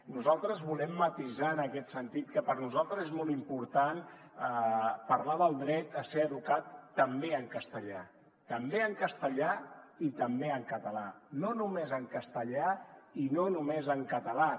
nosaltres volem matisar en aquest sentit que per a nosaltres és molt important parlar del dret a ser educat també en castellà també en castellà i també en català no només en castellà i no només en ca·talà